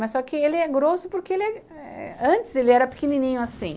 Mas só que ele é grosso porque antes ele era pequenininho assim.